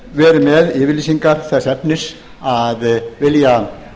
verið með yfirlýsingar þess efnis að vilja